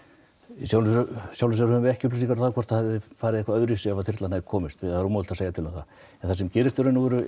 í sjálfu sér höfum við ekki upplýsingar um hvort það hefði farið öðruvísi ef þyrlan hefði komist það er ómögulegt að segja til um það það sem gerist í raun og veru